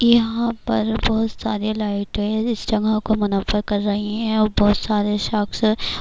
یہاں پر بہت ساری لائٹیں اس جگہ کو منعقد کر رہی ہیں اور بہت سارے شکس